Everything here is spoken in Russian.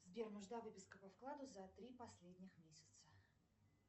сбер нужна выписка по вкладу за три последних месяца